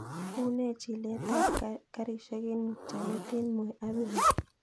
Une chilet ap karishek en mutyonet en moi avenue